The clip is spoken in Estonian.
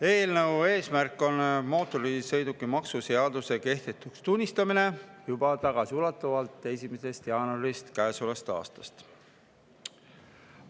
Eelnõu eesmärk on mootorsõidukimaksu seaduse kehtetuks tunnistamine tagasiulatuvalt juba 1. jaanuarist käesolevast aastast.